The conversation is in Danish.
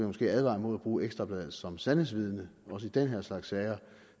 måske advare mod at bruge ekstra bladet som sandhedsvidne også i den her slags sager